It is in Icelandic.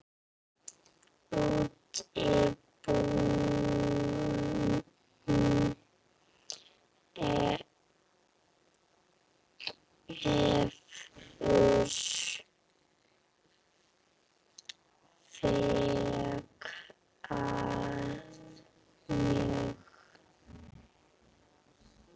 Útibúum hefur fækkað mjög.